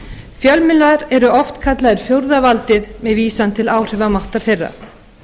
fjölmiðlar eru oft kallaðir fjórða valdið með vísan til áhrifamáttar þeirra